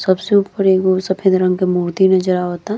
सबसे ऊपर एगो सफेद रंग के मूर्ति नज़र आवता।